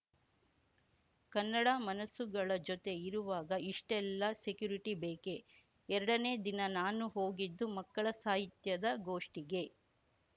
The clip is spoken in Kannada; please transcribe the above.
ಕನ್ನಡ ಮನಸ್ಸುಗಳ ಜೊತೆ ಇರುವಾಗ ಇಷ್ಟೆಲ್ಲ ಸೆಕ್ಯುರಿಟಿ ಬೇಕೆ ಎರಡನೇ ದಿನ ನಾನು ಹೋಗಿದ್ದು ಮಕ್ಕಳ ಸಾಹಿತ್ಯದ ಗೋಷ್ಠಿಗೆ